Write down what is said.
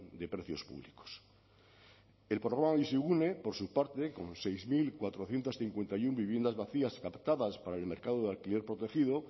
de precios públicos el programa bizigune por su parte con seis mil cuatrocientos cincuenta y uno viviendas vacías captadas para el mercado de alquiler protegido